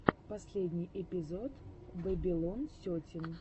последний эпизод бэбилон сетин